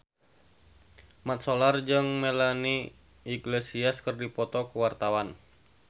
Mat Solar jeung Melanie Iglesias keur dipoto ku wartawan